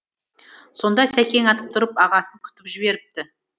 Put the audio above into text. сонда сәкең атып тұрып ағасын күтіп жіберіпті